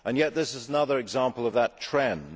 this is another example of that trend.